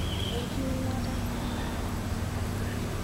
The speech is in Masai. Enkiminata